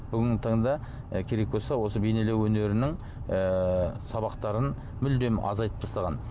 бүгінгі таңда керек болса осы бейнелеу өнерінің ыыы сабақтарын мүлдем азайтып тастаған